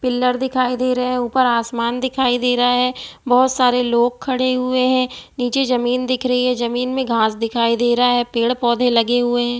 Pillar दिखाई दे रहा है ऊपर आसमान दिखाई दे रहा है बहुत सारे लोग खड़े हुए हैं नीचे जमीन दिख रहिए नीचे घास दिख रही है पेड़ पौधे लगे हुए है ।